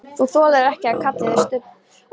Þú þolir ekki að hann kalli þig Stubb!